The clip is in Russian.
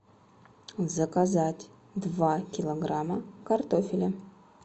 заказать два килограмма картофеля